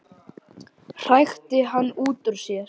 hrækti hann út úr sér.